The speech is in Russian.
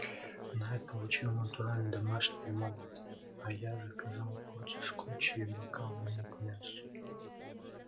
найд получил натуральный домашний лимонад а я заказал порцию скотча и бокал вина к мясу